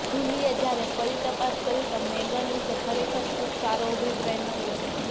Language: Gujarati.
જુલીએ જ્યારે ફરી તપાસ કરી તો મેગન વિશે ખરેખર ખૂબ સારો અભિપ્રાય મળ્યો